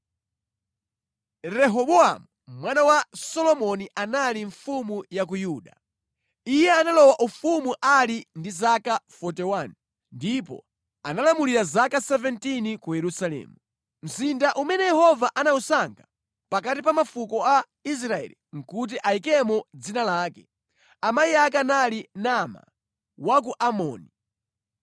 Rehobowamu mwana wa Solomoni anali mfumu ya ku Yuda. Iye analowa ufumu ali ndi zaka 41, ndipo analamulira zaka 17 ku Yerusalemu, mzinda umene Yehova anawusankha pakati pa mafuko a Israeli kuti ayikemo Dzina lake. Amayi ake anali Naama, wa ku Amoni.